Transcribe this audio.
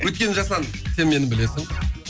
өйткені жасұлан сен мені білесің